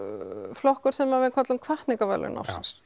flokkur sem við köllum hvatningarverðlaun ársins